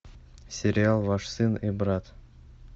сериал ваш сын и брат